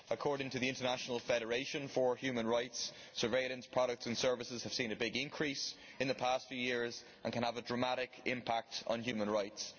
According to the International Federation for Human Rights, surveillance products and services have seen a big increase in the past few years and can have a dramatic impact on human rights.